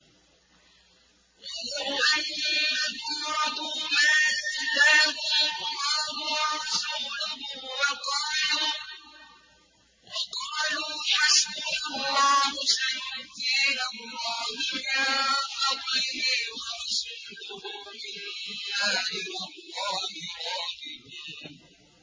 وَلَوْ أَنَّهُمْ رَضُوا مَا آتَاهُمُ اللَّهُ وَرَسُولُهُ وَقَالُوا حَسْبُنَا اللَّهُ سَيُؤْتِينَا اللَّهُ مِن فَضْلِهِ وَرَسُولُهُ إِنَّا إِلَى اللَّهِ رَاغِبُونَ